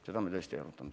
Seda me tõesti ei arutanud.